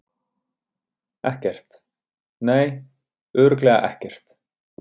Ekkert, nei, örugglega ekkert.